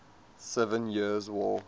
seven years war